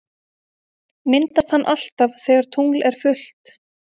Myndast hann alltaf þegar tungl er fullt?